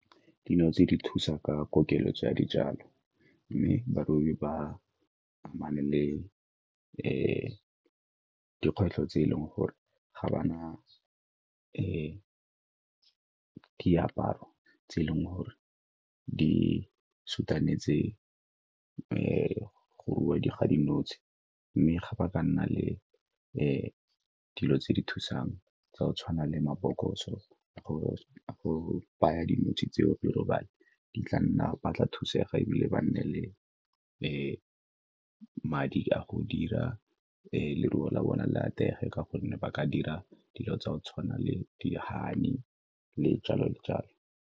Dilo tse di thusa ka keletso ya dijalo, mme barobi ba amane le dikgwetlho tse e leng gore ga ba na diaparo tse e leng gore di go rua ga dinotshe mme ga ba ka nna le dilo tse di thusang tsa go tshwana le mabokoso go baya dinotshe tseo di robale, di tla nna, ba tla thusega ebile ba nne le madi a go dira leruo la bona le atlege ka gonne ba ka dira dilo tsa go tshwana le di-honey, le jalo le jalo.